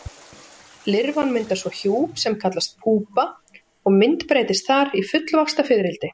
Lirfan myndar svo hjúp sem kallast púpa og myndbreytist þar í fullvaxta fiðrildi.